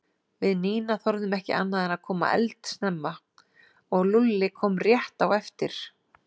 Við Nína þorðum ekki annað en að koma eldsnemma og Lúlli kom rétt á eftir